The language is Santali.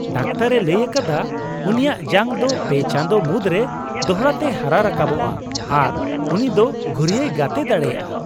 ᱰᱟᱠᱛᱟᱨᱼᱮ ᱞᱟᱹᱭ ᱟᱠᱟᱫᱟ ᱩᱱᱤᱭᱟᱜ ᱡᱟᱝ ᱫᱚ ᱓ ᱪᱟᱸᱫᱚ ᱢᱩᱫᱨᱮ ᱫᱚᱲᱦᱟᱛᱮ ᱦᱟᱨᱟ ᱨᱟᱠᱟᱵᱚᱜᱼᱟ ᱟᱨ ᱩᱱᱤ ᱫᱚ ᱜᱷᱩᱨᱭᱟᱹᱭ ᱜᱟᱛᱮ ᱫᱟᱲᱮᱭᱟᱜᱼᱟ ᱾